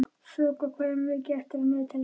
Þoka, hvað er mikið eftir af niðurteljaranum?